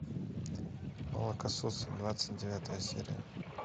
молокососы двадцать девятая серия